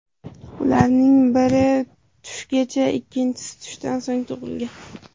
Ularning biri tushgacha, ikkinchisi tushdan so‘ng tug‘ilgan.